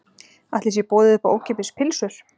Ætli sé boðið upp á ókeypis pylsur?